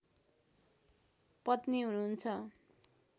पत्नी हुनुहुन्छ